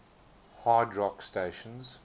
hard rock stations